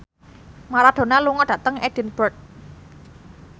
Maradona lunga dhateng Edinburgh